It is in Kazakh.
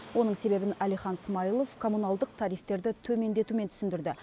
оның себебін әлихан смайлов комуналдық тарифтерді төмендетумен түсіндірді